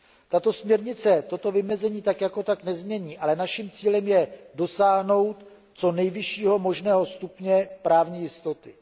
Tato směrnice toto vymezení tak jako tak nezmění, ale naším cílem je dosáhnout nejvyššího možného stupně právní jistoty.